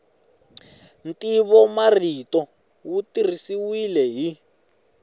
ntivomarito wu tirhisiwile hi